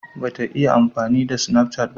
Ba ta iya amfani da sinafcat ba